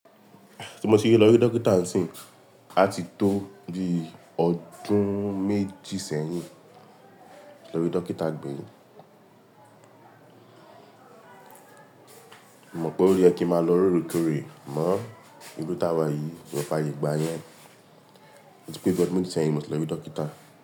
Tí mo ti rí lọ ọ rí dókítà níìsín, a ti tó di ọdún méjì sẹ́yìn. Lọ rí dókítà gbẹ̀yìn. Mo mọ̀ pé ó yẹ kí n máa lọ lóòrèkórè, àmọ́, ìbi t'àwà yìí kò f'ayé gbà yẹn. Tí pé bí ọ́dún méjì sẹ́yìn mo ti lọ rí dókítà.